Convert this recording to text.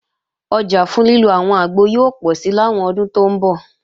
Ọjà fún lílo àwọn àgbo yóò pọ̀si làwọn ọdún tó ń bọ̀